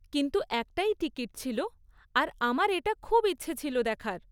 কিন্তু একটাই টিকিট ছিল আর আমার এটা খুব ইচ্ছে ছিল দেখার।